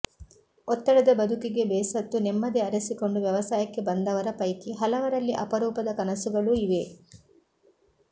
ಒತ್ತಡದ ಬದುಕಿಗೆ ಬೇಸತ್ತು ನೆಮ್ಮದಿ ಅರಸಿಕೊಂಡು ವ್ಯವಸಾಯಕ್ಕೆ ಬಂದವರ ಪೈಕಿ ಹಲವರಲ್ಲಿ ಅಪರೂಪದ ಕನಸುಗಳೂ ಇವೆ